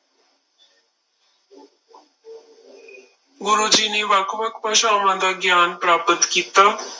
ਗੁਰੂ ਜੀ ਨੇ ਵੱਖ ਵੱਖ ਭਾਸ਼ਾਵਾਂ ਦਾ ਗਿਆਨ ਪ੍ਰਾਪਤ ਕੀਤਾ।